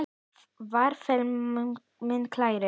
Far vel minn kæri.